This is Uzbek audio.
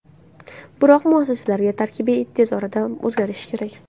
Biroq muassislar tarkibi tez orada o‘zgarishi kerak.